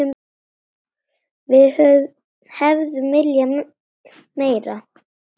Við hefðum viljað meira.